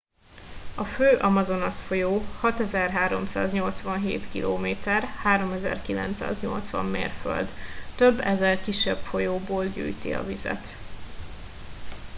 a fő amazonas-folyó 6387 km 3980 mérföld. több ezer kisebb folyóból gyűjti a vizet